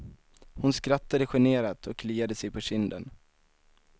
Hon skrattade generat och kliade sig på kinden.